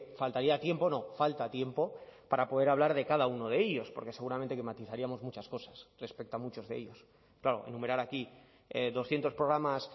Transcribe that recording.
faltaría tiempo no falta tiempo para poder hablar de cada uno de ellos porque seguramente que matizaríamos muchas cosas respecto a muchos de ellos claro enumerar aquí doscientos programas